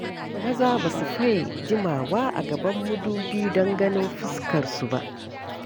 Maza ba su faye jimawa a gaban madubi don ganin fuskarsu ba.